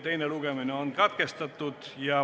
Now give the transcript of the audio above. Teine lugemine on katkestatud.